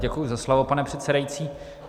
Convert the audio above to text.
Děkuji za slovo, pane předsedající.